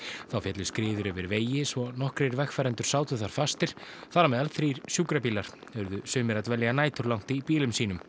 þá féllu skriður yfir vegi svo nokkrir vegfarendur sátu þar fastir þar á meðal þrír sjúkrabílar urðu sumir að dvelja næturlangt í bílum sínum